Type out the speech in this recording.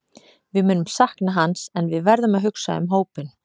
Við munum sakna hans en við verðum að hugsa um hópinn.